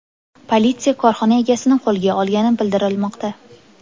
Politsiya korxona egasini qo‘lga olgani bildirilmoqda.